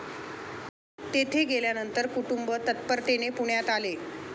तेथे गेल्यानंतर कुटुंब तत्परतेने पुण्यात आले